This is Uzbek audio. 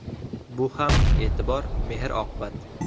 Bu ham e’tibor, mehr-oqibat.